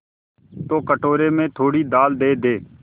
तो कटोरे में थोड़ी दाल दे दे